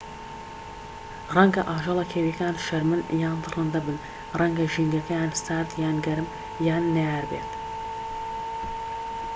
ڕەنگە ئاژەڵە کێوییەکان شەرمن یان دڕندە بن ڕەنگە ژینگەکەیان سارد یان گەرم یان نەیار بێت